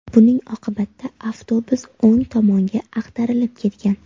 Buning oqibatda avtobus o‘ng tomonga ag‘darilib ketgan.